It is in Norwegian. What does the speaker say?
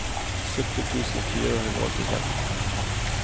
sytti tusen fire hundre og åttiseks